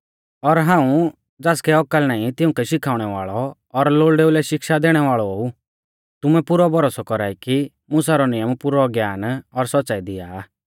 और हाऊं ज़ासकै औकल नाईं तिउंकै शिखाउणै वाल़ौ और लोल़डेऊ लै शिक्षा दैणै वाल़ौ ऊ तुमै पुरौ भरोसौ कौरा ई कि मुसा रौ नियम पुरौ ज्ञान और सौच़्च़ाई दिया आ